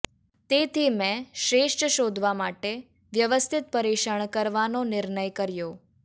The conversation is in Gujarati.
તેથી મેં શ્રેષ્ઠ શોધવા માટે વ્યવસ્થિત પરીક્ષણ કરવાનો નિર્ણય કર્યો